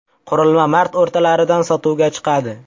Qurilma mart o‘rtalaridan sotuvga chiqadi.